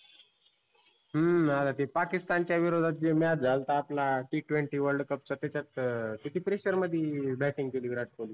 हम्म आता ते Pakistan च्या विरोद्धात जे match झालता आपला T twenty world cup चा त्याच्यात अं किती pressure मध्ये batting केली विराट किल्हीनी.